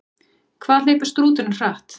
Hvað hleypur strúturinn hratt?